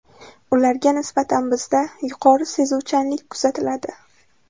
Ularga nisbatan bizda yuqori sezuvchanlik kuzatiladi.